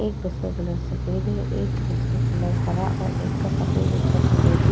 एक बस का कलर सफ़ेद है एक बस का कलर हरा और एक का सफ़ेद और एक का फिरोज़ी --